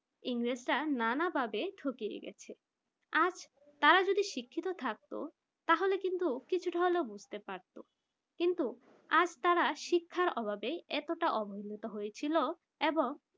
ইংরেজরা নানাভাবে ঠকিয়ে গেছে আজ তারা যদি শিক্ষিত থাকতো তাহলে কিন্তু কিছুটা হলেও বুঝতে পারতো কিন্তু আজ তারা শিক্ষার অভাবে এতটা হয়েছিল এবং